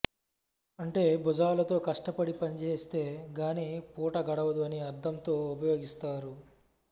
అంటే భుజాలతో కష్టపడి పనిచేస్తే గాని పూట గడవదు అని అర్ధంతో ఉపయోగిస్తారు